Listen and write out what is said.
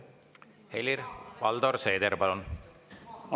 Helir‑Valdor Seeder, palun!